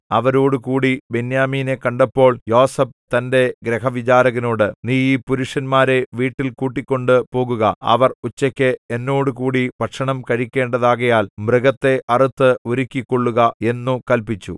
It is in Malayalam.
അവരോടുകൂടി ബെന്യാമീനെ കണ്ടപ്പോൾ യോസേഫ് തന്റെ ഗൃഹവിചാരകനോട് നീ ഈ പുരുഷന്മാരെ വീട്ടിൽ കൂട്ടിക്കൊണ്ട് പോകുക അവർ ഉച്ചയ്ക്ക് എന്നോടുകൂടി ഭക്ഷണം കഴിക്കേണ്ടതാകയാൽ മൃഗത്തെ അറുത്ത് ഒരുക്കിക്കൊള്ളുക എന്നു കല്പിച്ചു